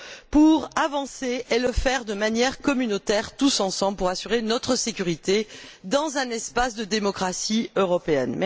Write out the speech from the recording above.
pour avancer et pour le faire de manière communautaire, tous ensemble, afin d'assurer notre sécurité dans un espace de démocratie européenne.